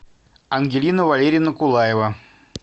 ангелина валерьевна кулаева